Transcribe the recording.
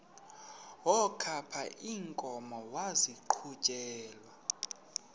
wokaba iinkomo maziqhutyelwe